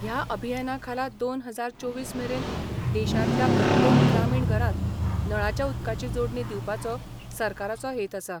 ह्या अभियानाखाला दोन हजार चोवीस मेरेन देशांतल्या प्रत्येक ग्रामिण घरात, नळाच्या उदकाची जोडणी दिवपाचो सरकाराचो हेत आसा.